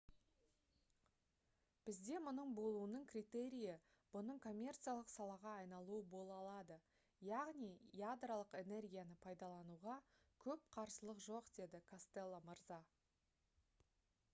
«бізде мұның болуының критерийі бұның коммерциялық салаға айналуы бола алады. яғни ядролық энергияны пайдалануға көп қарсылық жоқ» - деді костелло мырза